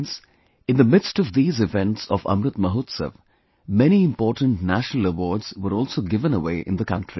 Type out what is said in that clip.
Friends, in the midst of these events of Amrit Mahotsav, many important national awards were also given away in the country